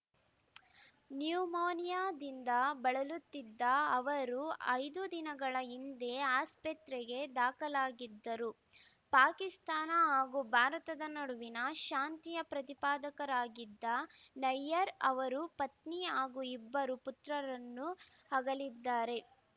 ನ್ಯುಮೋನಿಯಾದಿಂದ ಬಳಲುತ್ತಿದ್ದ ಅವರು ಐದು ದಿನಗಳ ಹಿಂದೆ ಆಸ್ಪೆತ್ರೆಗೆ ದಾಖಲಾಗಿದ್ದರು ಪಾಕಿಸ್ತಾನ ಹಾಗೂ ಭಾರತದ ನಡುವಿನ ಶಾಂತಿಯ ಪ್ರತಿಪಾದಕರಾಗಿದ್ದ ನಯ್ಯರ್‌ ಅವರು ಪತ್ನಿ ಹಾಗೂ ಇಬ್ಬರು ಪುತ್ರರನ್ನು ಅಗಲಿದ್ದಾರೆ